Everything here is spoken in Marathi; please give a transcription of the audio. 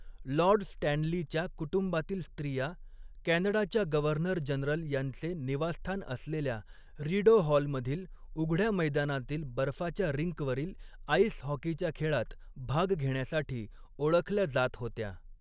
लॉर्ड स्टॅनलीच्या कुटुंबातील स्त्रिया, कॅनडाच्या गव्हर्नर जनरल यांचे निवास्थान असलेल्या रीडो हॉल मधील उघड्या मैदानातील बर्फाच्या रिंकवरील आइस हॉकीच्या खेळात भाग घेण्यासाठी ओळखल्या जात होत्या.